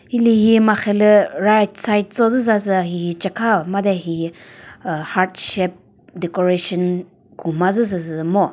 hilühi marhelü right side cho züsasü hihi cekha made hihi heart shape decoration gumazü süsü ngo.